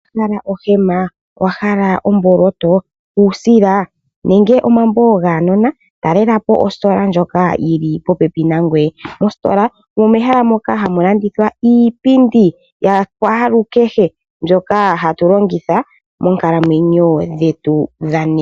Owa hala ohema, owahala omboloto, uusila nenge omambo gaanona? Talela po ositola ndjoka yili popepi nangoye. Mositola omo mehala moka hamu landithwa iipindi yakwaalukehe mbyoka hatu longitha moonkalmwenyo dhetu dhonena.